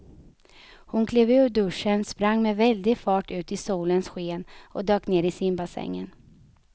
Hon klev ur duschen, sprang med väldig fart ut i solens sken och dök ner i simbassängen.